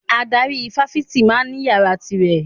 Adarí ifáfitì ma ń ní yàrá ti rẹ̀